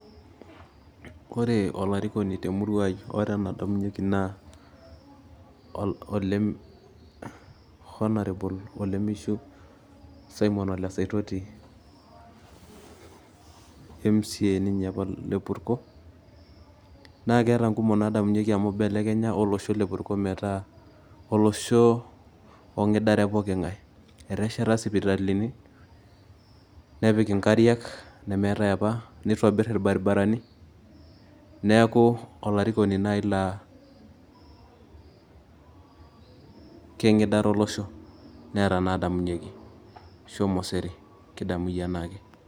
Ore olarikoni temurua ai naa Honourable olemishu Simon Ole Saitoti Mca ninye apa te Purko naa keeta nkumok naadamunyieki amu ibelekenya olosho le Purko metaa olosho ong'idare pooki ng'ae, etesheta pooki ng'ae nepiki nkariak nemeetai apa nitobirr irbaribarani neeku olarikoni naai laa keng'idare olosho neeta inaadamunyieki, shomo sere kidamu iyie enaake.